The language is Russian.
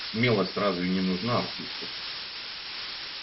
смелость разве не нужна артисту